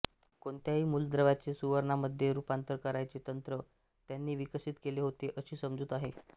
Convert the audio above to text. कोणत्याही मूलद्रव्याचे सुवर्णामध्ये रूपांतर करायचे तंत्र त्यांनी विकसित केले होते अशी समजूत आहे